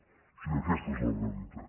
o sigui que aquesta és la realitat